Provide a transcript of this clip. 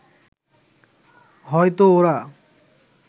হয়তো ওরা